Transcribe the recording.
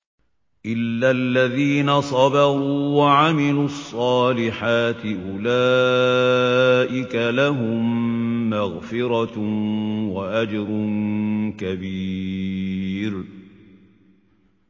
إِلَّا الَّذِينَ صَبَرُوا وَعَمِلُوا الصَّالِحَاتِ أُولَٰئِكَ لَهُم مَّغْفِرَةٌ وَأَجْرٌ كَبِيرٌ